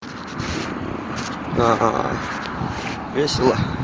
аа весело